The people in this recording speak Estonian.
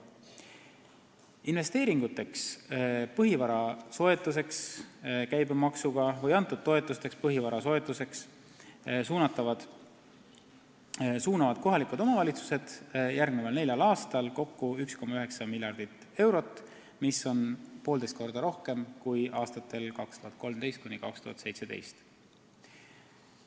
Investeeringuteks, põhivara soetuseks käibemaksuga või põhivara soetuseks antud toetusteks suunavad kohalikud omavalitsused järgmisel neljal aastal kokku 1,9 miljardit eurot, mis on poolteist korda rohkem kui aastatel 2013–2017.